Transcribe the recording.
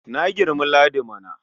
Na girmi Ladi mana.